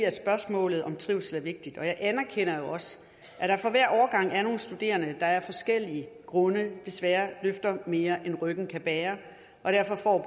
at spørgsmålet om trivsel er vigtigt og jeg anerkender jo også at der for hver årgang er nogle studerende der af forskellige grunde desværre løfter mere end ryggen kan bære og derfor